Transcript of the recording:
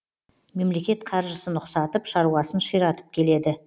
мемлекет қаржысын ұқсатып шаруасын ширатып келеді